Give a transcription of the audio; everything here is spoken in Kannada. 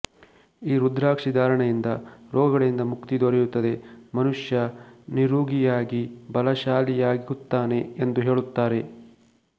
ಈ ರುದ್ರಾಕ್ಷಿ ಧಾರಣೆಯಿಂದ ರೋಗಗಳಿಂದ ಮುಕ್ತಿ ದೊರೆಯುತ್ತದೆ ಮನುಷ್ಯ ನಿರೂಗಿಯಾಗಿ ಬಲಶಾಲಿಯಾಗುತ್ತಾನೆ ಎಂದು ಹೇಳುತ್ತಾರೆ